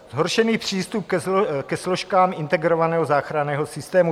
Zhoršený přístup ke složkám integrovaného záchranného systému.